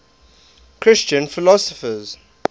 christian philosophers